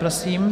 Prosím.